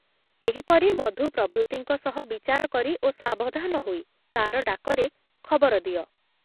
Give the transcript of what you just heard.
ଏହିପରି ମଧୁ ପ୍ରଭୃତିଙ୍କ ସହ ବିଚାର କରି ଓ ସାବଧାନ ହୋଇ ତାର ଡାକରେ ଖବର ଦିଅ ।